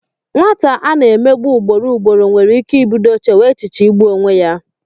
Nwata a na-emegbu ugboro ugboro nwere ike ibido chewe echiche igbu onwe ya.